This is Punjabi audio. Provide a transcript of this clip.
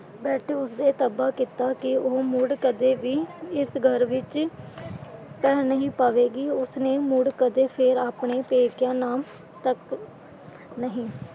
ਬੈਠੇ ਉਸਦੇ ਤੋਬਾ ਕੀਤਾ ਕਿ ਉਹ ਮੁੜ ਕਦੇ ਵੀ ਇਸ ਘਰ ਵਿੱਚ ਪੈਰ ਨਹੀਂ ਪਵੇਗੀ। ਉਸਨੇ ਮੁੜ ਕਦੇ ਫੇਰ ਆਪਣੇ ਪੇਕਿਆਂ ਨਾਮ ਤੱਕ ਨਹੀਂ।